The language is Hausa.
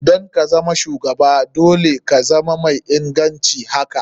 Don kazama shugaba dole ka zama mai ingancin haka.